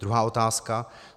Druhá otázka.